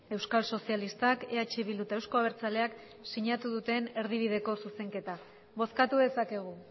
euskal sozialistak eh bildu eta euzko abertzaleak sinatu duten erdibideko zuzenketa bozkatu dezakegu